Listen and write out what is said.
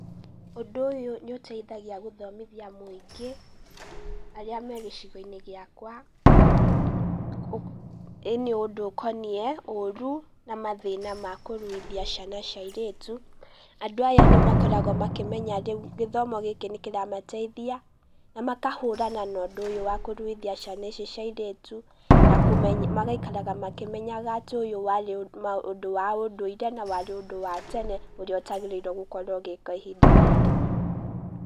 Ũndũ ũyũ nĩ ũteithagia gũthomithia mũingĩ, arĩa me gĩcigo-inĩ gĩakwa, ũndũ ũkoniĩ oru na mathĩna ma kũruithia ciana cia airĩtu, andũ aya nĩ makoragwo makĩmenya rĩu gĩthomo gĩkĩ nĩ kĩramateithia, na makahũrana na ũndũ ũyũ wa kũruithia ciana ici cia airĩtu, na magaikaraga makĩmenyaga atĩ ũyũ warĩ ũndũ wa ũndũire, na warĩ ũndũ wa tene, ũrĩa ũtagĩrĩire gũkorwo ũgĩkwo ihinda rĩrĩ.